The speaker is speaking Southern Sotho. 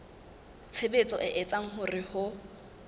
tshebetso e etsang hore ho